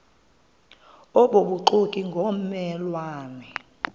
obubuxoki ngomme lwane